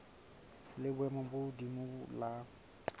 la boemo bo hodimo la